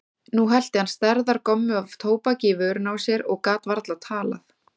Nú hellti hann stærðar gommu af tóbaki í vörina á sér og gat varla talað.